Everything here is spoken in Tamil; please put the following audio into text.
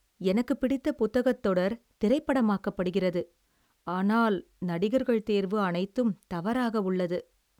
எனக்குப் பிடித்த புத்தகத் தொடர் திரைப்படமாக்கப்படுகிறது, ஆனால் நடிகர்கள் தேர்வு அனைத்தும் தவறாக உள்ளது.